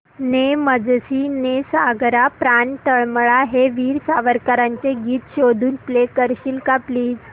ने मजसी ने सागरा प्राण तळमळला हे वीर सावरकरांचे गीत शोधून प्ले करशील का प्लीज